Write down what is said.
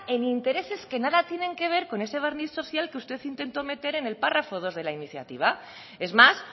en intereses que nada tienen que ver con ese barniz social que usted intentó meter en el párrafo dos de la iniciativa es más